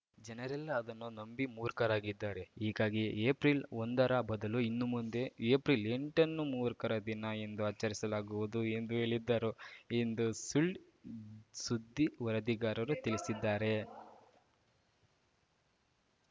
ಜನರೆಲ್ಲ ಅದನ್ನು ನಂಬಿ ಮೂರ್ಖರಾಗಿದ್ದಾರೆ ಹೀಗಾಗಿ ಏಪ್ರಿಲ್ಒಂದರ ಬದಲು ಇನ್ನುಮುಂದೆ ಏಪ್ರಿಲ್ಎಂಟನ್ನು ಮೂರ್ಖರ ದಿನ ಎಂದು ಆಚರಿಸಲಾಗುವುದು ಎಂದು ಹೇಳಿದ್ದರು ಎಂದು ಸುಳ್‌ಸುದ್ದಿ ವರದಿಗಾರರು ತಿಳಿಸಿದ್ದಾರೆ